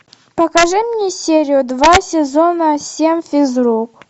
покажи мне серию два сезона семь физрук